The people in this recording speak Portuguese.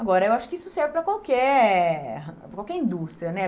Agora, eu acho que isso serve para qualquer qualquer indústria, né?